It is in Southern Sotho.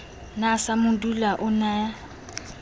na samadula o ne a